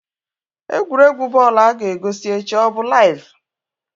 Egwuregwu bọl a ga-egosi echi ọ bụ laiv?